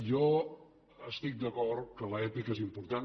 jo estic d’acord que l’èpica és important